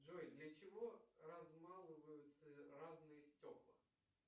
джой для чего размалываются разные стекла